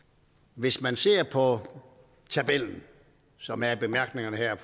hvis man ser på tabellen som er i bemærkningerne her